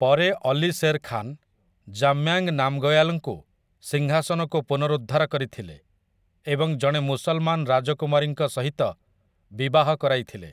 ପରେ ଅଲି ଶେର୍ ଖାନ୍, ଜାମ୍ୟାଙ୍ଗ୍ ନାମ୍‌ଗୟାଲ୍‌ଙ୍କୁ ସିଂହାସନକୁ ପୁନରୁଦ୍ଧାର କରିଥିଲେ ଏବଂ ଜଣେ ମୁସଲମାନ ରାଜକୁମାରୀଙ୍କ ସହିତ ବିଭାହ କରାଇଥିଲେ ।